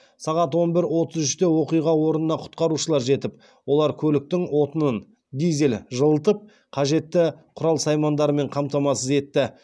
сағат он бір отыз үште оқиға орнына құтқарушылар жетіп олар көліктің отынын жылытып қажетті құрал саймандармен қамтамасыз етті